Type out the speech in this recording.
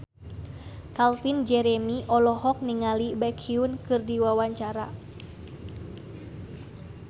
Calvin Jeremy olohok ningali Baekhyun keur diwawancara